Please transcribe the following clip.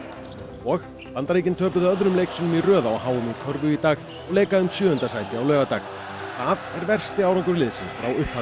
og Bandaríkin töpuðu öðrum leik sínum í röð á h m í körfu í dag og leika um sjöunda sæti á laugardag það er versti árangur liðsins frá upphafi